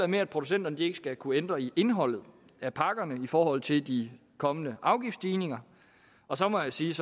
med at producenterne ikke skal kunne ændre i indholdet af pakkerne i forhold til de kommende afgiftsstigninger og så må jeg sige